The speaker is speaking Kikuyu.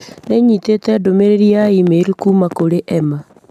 Nĩ nyitĩte ndũmĩrĩri ya i-mīrū kuuma kũrĩ Emma.